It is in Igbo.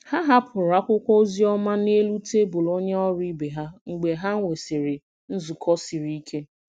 Ha hapụrụ akwụkwọ ozi ọma n'elu tebụl onye ọrụ ibe ha mgbe ha nwesịrị nzukọ siri ike.